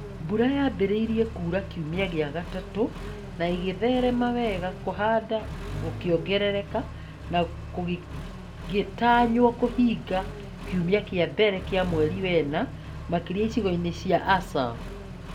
Mbura yaambĩrĩirie kuura kiumia gĩa gatatũ na ĩgĩtherema wega, kũhanda gũkĩongerereka na kũgĩtanywo kũhinga kiumia kĩa mbere kĩa mweri wena makĩria icigo-inĩ cia ASAL.